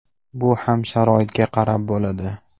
Bu ham sharoitga qarab bo‘ladi.